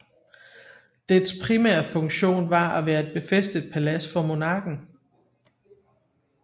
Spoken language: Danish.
Dets primære funktion var at være et befæstet palads for monarken